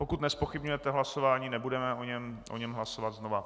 Pokud nezpochybňujete hlasování, nebudeme o něm hlasovat znova.